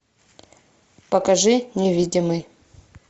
покажи невидимый